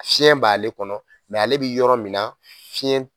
Fiɲɛn b'ale kɔnɔ ale be yɔrɔ min na fiɲɛ t